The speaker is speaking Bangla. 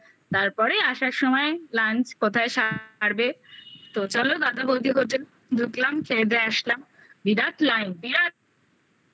তারপরে আসার সময় lunch কোথায় সারবেতো চলো দাদা বৌদি হোটেল ঢুকলাম খেয়ে দেয়ে আসলাম বিরাট লাইন বিরাট